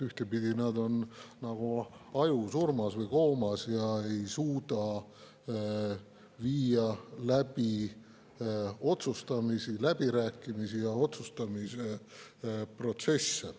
Ühtepidi nad on nagu ajusurmas või koomas ega suuda teha otsustamisi, läbirääkimisi ja otsustamise protsesse.